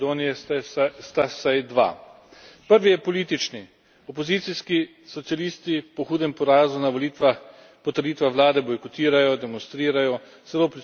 Opozicijski socialisti po hudem porazu na volitvah po trditvah vlade bojkotirajo, demonstrirajo, celo prisluškujejo vladi in istočasno obtožujejo vlado, da prisluškuje.